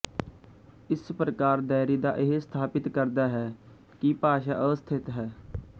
ਇਸ ਪ੍ਰਕਾਰ ਦੈਰਿਦਾ ਇਹ ਸਥਾਪਿਤ ਕਰਦਾ ਹੈ ਕਿ ਭਾਸ਼ਾ ਅਸਥਿਤ ਹੈ